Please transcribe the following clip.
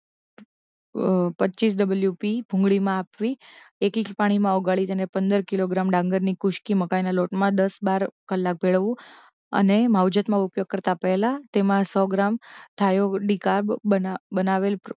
અ અ પચ્ચીસ W P ભૂંગળીમાં આપવી એક ઇંચ પાણીમાં ઓગાળીને એને પંદર કિલોગ્રામ ડાંગરની કુસકી મકાઇના લોટમાં દસ બાર કલાક ભેળવવું અને માવજતમાં ઉપયોગ કરતાં પહેલા તેમાં સો ગ્રામ થાયો ડી કાર્બ બના બનાવેલ